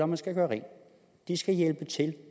man skal gøre rent de skal hjælpe til